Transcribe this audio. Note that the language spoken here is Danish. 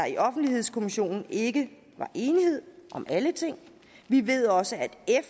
i offentlighedskommissionen ikke var enighed om alle ting vi ved også